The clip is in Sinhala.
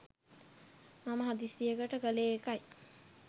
මම හදිසියට කළේ ඒකයි.